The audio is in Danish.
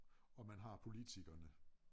Og man har politikerne